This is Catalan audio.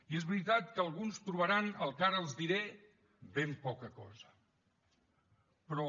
i és veritat que alguns trobaran el que ara els diré ben poca cosa però